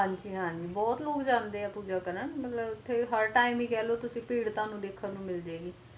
ਹਨ ਜੀ ਹਨ ਜੀ ਬੋਹਤ ਲੋਗ ਜਾਂਦੇ ਆ ਪੂਜਾ ਕਰਨ ਹਰ ਟੀਮ ਹੈ ਕਹਿ ਲੋ ਤੁਸੀ ਭੀੜ ਵੇਖਣ ਨੂੰ ਮਿਲੇਗੀ